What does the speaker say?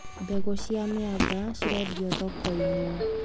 Mbegũ cia mĩanga cirendio thokoinĩ.